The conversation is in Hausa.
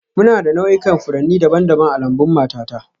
Muna da nau'ikan furanni daban-daban a lambun matata